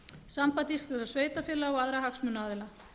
samband íslenskra sveitarfélaga og aðra hagsmunaaðila